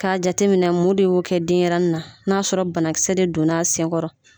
K'a jate minɛ mun de y'o kɛ denɲɛrɛnin na n'a sɔrɔ banakisɛ de don n'a senkɔrɔ.